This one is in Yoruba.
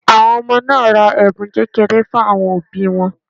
Àwọn ọmọ náà ra ẹ̀bùn kékeré fún àwọn òbí wọn